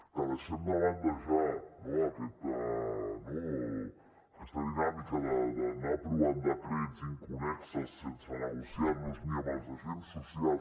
que deixem de banda ja no aquesta dinàmica d’anar aprovant decrets inconnexos sense negociarlos ni amb els agents socials